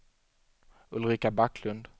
Ulrika Backlund